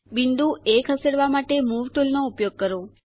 બિંદુ એ ખસેડવા માટે મૂવ ટુલનો ઉપયોગ કરો